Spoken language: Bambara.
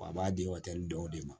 Wa a b'a di dɔw de ma